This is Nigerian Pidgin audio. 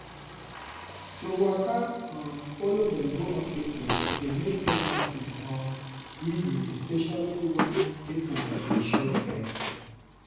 to waka um follow dem go hospital dey make pregnancy um easy especially where people dey show care.